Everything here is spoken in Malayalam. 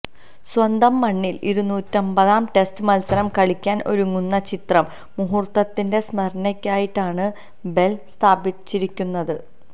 സ്വന്തം മണ്ണില് ഇരുനൂറ്റമ്പതാം ടെസ്റ്റ് മത്സരം കളിക്കാന് ഒരുങ്ങുന്ന ചരിത്ര മുഹൂര്ത്തത്തിന്റെ സ്മരണികയായിട്ടാണ് ബെല് സ്ഥാപിച്ചിരിക്കുന്നത്